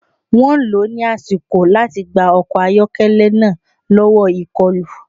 Wọ́n lò ó ní àsìkò láti gba ọkọ̀ ayọ́kẹ́lẹ́ náà lọ́wọ́ ìkọlù